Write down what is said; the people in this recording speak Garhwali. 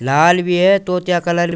लाल भी है तोतिया कलर --